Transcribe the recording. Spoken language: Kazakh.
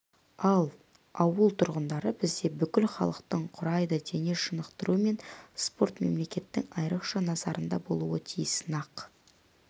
ал ауыл тұрғындары бізде бүкіл халықтың құрайды дене шынықтыру мен спорт мемлекеттің айрықша назарында болуы тиіс нақ